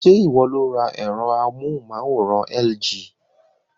Ṣé ìwọ lo ra ẹ̀rọ amóhùnmáwòrán LG?